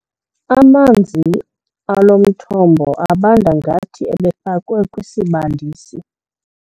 Amanzi alo mthombo abanda ngathi ebefakwe kwisibandisi.